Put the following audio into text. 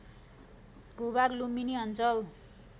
भूभाग लुम्बिनी अञ्चल